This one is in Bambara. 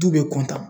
Du bɛ kɔntan